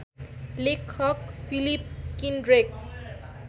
लेखक फिलिप किन्ड्रेक